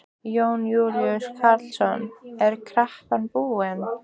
Jón Júlíus Karlsson: Er kreppan búin?